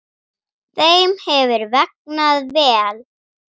Þeim hefur vegnað vel.